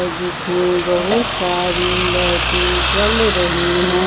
जिसमें बहुत सारी लाइटी जल रही है।